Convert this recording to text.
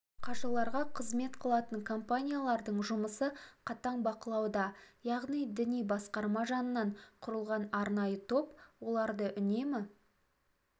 қажыларға қызмет қылатын компаниялардың жұмысы қатаң бақылауда яғни діни басқарма жанынан құрылған арнайы топ оларды үнемі